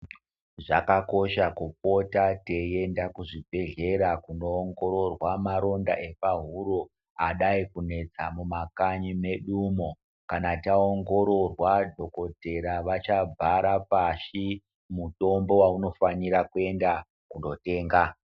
Zvakakosha kupota teienda kuzvibhedhlera kunoongororwa maronda emukanwa adai kunetsa mumakanyi mwedumo kana taongororwa dhokodhera cachabhara pashi mutombo waunofanira kunotenga .